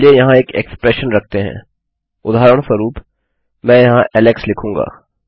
चलिए यहाँ एक इक्स्प्रेशन रखते हैंउदाहरणस्वरूप मैं यहाँ ऐलेक्स कहूँगा